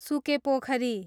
सुके पोखरी